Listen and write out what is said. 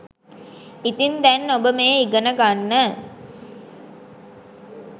ඉතින් දැන් ඔබ මේ ඉගෙන ගන්න